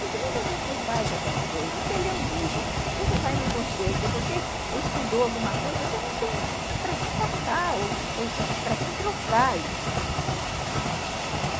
Porque muitas vezes você faz alguma coisa, você lê um livro, você vai num concerto, você estudou alguma coisa, você não tem para quem passar, para quem trocar isso.